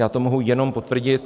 Já to mohu jenom potvrdit.